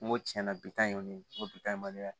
N ko tiɲɛna bi tan y'olu ye n ko bi ta ye mali la yan